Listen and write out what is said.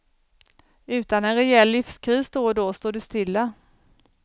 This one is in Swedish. Utan en rejäl livskris då och då står du stilla.